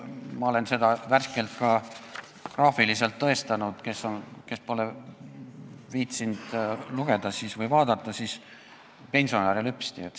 Ma olen seda värskelt ka graafiliselt tõestanud, kuid neile, kes pole viitsinud lugeda või vaadata, neile ütlen, et pensionäre lüpsti.